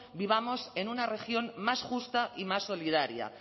vivamos en una región más justa y más solidaria